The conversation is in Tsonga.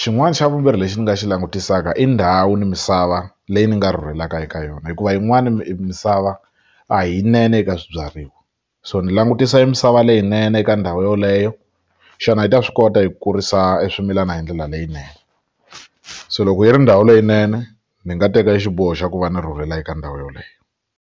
xin'wana xa vumbirhi lexi ni nga xi langutisaka i ndhawu ni misava leyi ni nga rhurhelaka eka yona hikuva yin'wani misava a hi yinene eka swibyariwa so ni langutisa misava leyinene eka ndhawu yoleyo xana yi ta swi kota eku kurisa swimilana hi ndlela leyinene se loko yi ri ndhawu leyinene ni nga teka xiboho xa ku va ni rhurhela eka ndhawu yeleyo.